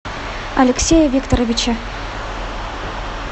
алексее викторовиче